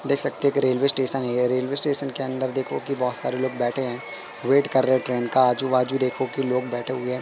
देख सकते हैं कि रेलवे स्टेशन है ये रेलवे स्टेशन के अंदर देखो की बहोत सारे लोग बैठे हैं वेट कर रहे हैं ट्रेन का आजू बाजू देखो कि लोग बैठे हुए--